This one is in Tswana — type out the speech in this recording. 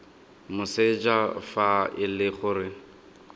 moseja fa e le gore